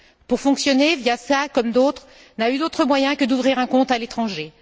Pour fonctionner, Viasna, comme d'autres, n'a eu d'autre moyen que d'ouvrir un compte à l'étranger